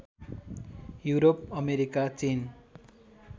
Europe America चीन